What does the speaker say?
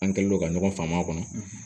An kɛlen don ka ɲɔgɔn faamu a kɔnɔ